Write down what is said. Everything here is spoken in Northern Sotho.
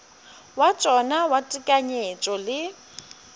wa tšona wa tekanyetšo le